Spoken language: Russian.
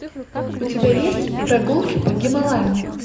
у тебя есть прогулки по гималаям